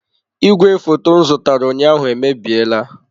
Igwefoto m zụtara ụnyaahụ emebiela.